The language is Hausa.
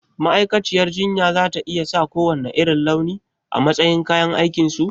Ma'aikaciyar jinya za ta iya sa kowanne irin launi a matsayin kayan aikinsu?